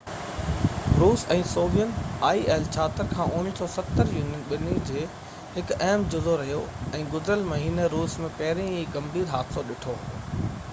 1970 کان il-76 روس ۽ Soviet Union ٻني جو هڪ اهم جزو رهيو آهي ۽ گذريل مهيني روس ۾ پهرين ئي هڪ ڳنڀير حادثو ڏٺو هو